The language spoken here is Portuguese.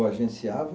O agenciava?